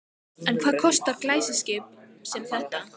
En hvað kostar glæsiskip sem þetta?